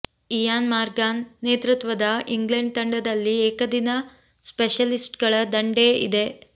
Ian Morgan ನೇತೃತ್ವದ England ತಂಡದಲ್ಲಿ ಏಕದಿನ ಸ್ಪೆಷಲಿಸ್ಟ್ಗಳ ದಂಡೇ ಇದೆ